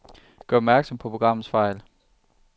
Gør opmærksom på programmets fejl.